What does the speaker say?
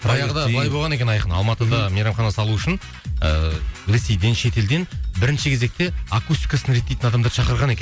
баяғыда былай болған екен айқын алматыда мейрамхана салу үшін ыыы ресейден шетелден бірінші кезекте акустикасын реттейтін адамдарды шақырған екен